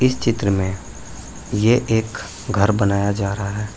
इस चित्र में ये एक घर बनाया जा रहा है।